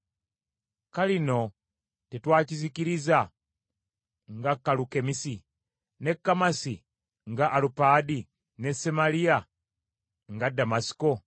‘Kalino tetwakizikiriza nga Kalukemisi, ne Kamasi nga Alupaadi, ne Samaliya nga Ddamasiko?